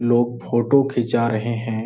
लोग फोटो खींचा रहे हैं।